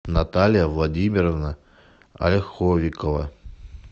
наталья владимировна ольховикова